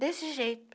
Desse jeito.